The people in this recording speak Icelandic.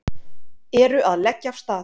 Eru að leggja af stað